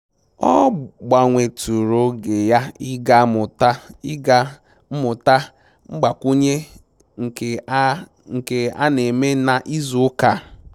Ọ gbanwetụrụ oge ya ịga mmụta mgbakwunye nke a nke a na-eme na ịzụ ụka a